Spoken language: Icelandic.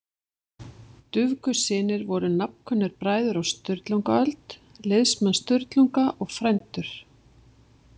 Dufgussynir voru nafnkunnir bræður á Sturlungaöld, liðsmenn Sturlunga og frændur.